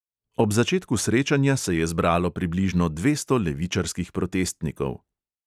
Ob začetku srečanja se je zbralo približno dvesto levičarskih protestnikov.